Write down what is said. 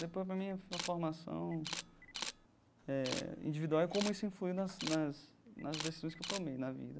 Para para mim, a for formação eh individual é como isso influi nas nas nas decisões que tomei na vida.